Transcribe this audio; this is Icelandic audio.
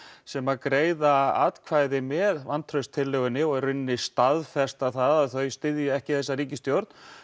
sem greiða atkvæði með vantrauststillögunni og í rauninni staðfesta það að þau styðji ekki þessa ríkisstjórn